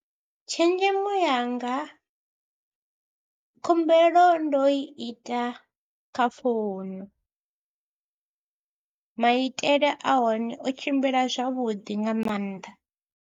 Tshenzhemo yanga, khumbelo ndo i ita kha founu, maitele a hone o tshimbila zwavhuḓi nga maanḓa.